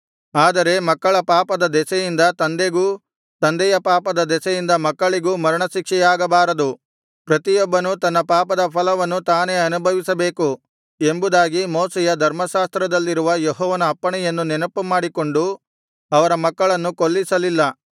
ಆದರೆ ಮಕ್ಕಳ ಪಾಪದ ದೆಸೆಯಿಂದ ತಂದೆಗೂ ತಂದೆಯ ಪಾಪದ ದೆಸೆಯಿಂದ ಮಕ್ಕಳಿಗೂ ಮರಣ ಶಿಕ್ಷೆಯಾಗಬಾರದು ಪ್ರತಿಯೊಬ್ಬನೂ ತನ್ನ ಪಾಪದ ಫಲವನ್ನು ತಾನೇ ಅನುಭವಿಸಬೇಕು ಎಂಬುದಾಗಿ ಮೋಶೆಯ ಧರ್ಮಶಾಸ್ತ್ರದಲ್ಲಿರುವ ಯೆಹೋವನ ಅಪ್ಪಣೆಯನ್ನು ನೆನಪು ಮಾಡಿಕೊಂಡು ಅವರ ಮಕ್ಕಳನ್ನು ಕೊಲ್ಲಿಸಲಿಲ್ಲ